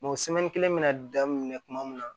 kelen bɛna danni minɛ kuma min na